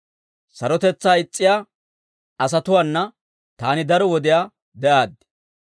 Sarotetsaa is's'iyaa asatuwaana taani daro wodiyaa de'aaddi.